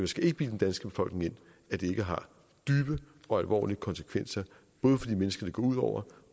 skal ikke bilde den danske befolkning ind at det ikke har dybe og alvorlige konsekvenser både for de mennesker det går ud over